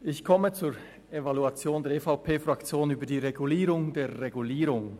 Ich komme zur Evaluation der EVP-Fraktion über die Regulierung der Regulierung.